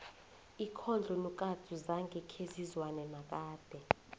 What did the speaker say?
ikhondlo nokatsu zange khezizwane nakade